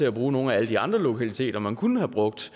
at bruge nogle af alle de andre lokaliteter man kunne have brugt